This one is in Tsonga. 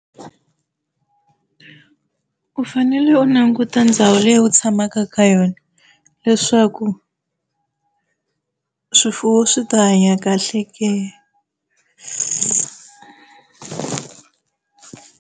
U fanele u languta ndhawu leyi u tshamaka ka yona leswaku swifuwo swi ta hanya kahle ke.